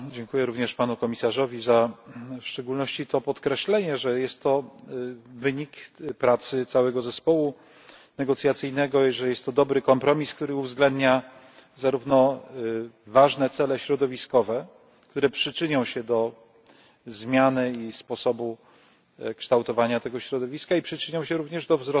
Dziękuję również Panu Komisarzowi za, w szczególności to podkreślenie, że jest to wynik pracy całego zespołu negocjacyjnego i że jest to dobry kompromis, który uwzględnia zarówno ważne cele środowiskowe, które przyczynią się do zmiany i sposobu kształtowania tego środowiska i przyczynią się również do